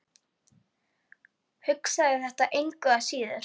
Hugsaði þetta engu að síður.